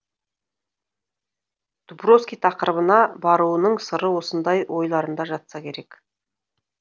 дубровский тақырыбына баруының сыры осындай ойларында жатса керек